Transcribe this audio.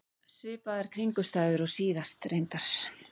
Svipaðar kringumstæður og síðast, reyndar.